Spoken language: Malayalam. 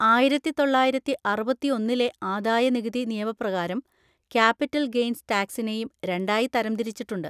ആയിരത്തി തൊള്ളായിരത്തി അറുപത്തിയൊന്നിലെ ആദായനികുതി നിയമപ്രകാരം ക്യാപിറ്റൽ ഗെയ്ൻസ് ടാക്സിനെയും രണ്ടായി തരംതിരിച്ചിട്ടുണ്ട്.